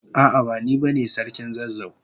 A'a, bani bane sarkin zazzau.